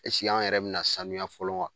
an yɛrɛ bina sanuya fɔlɔ wa ?